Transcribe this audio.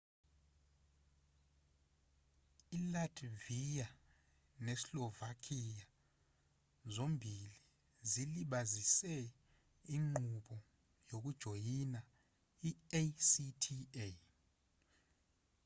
ilatvia neslovakia zombili zilibazise inqubo yokujoyina i-acta